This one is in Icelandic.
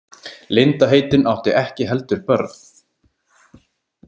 Linda heitin átti ekki heldur börn.